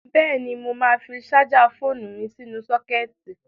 Bẹ́ẹ̀ni, mo máa fi ṣájà fóònu mi sínú sọ́kẹ́ẹ̀tì.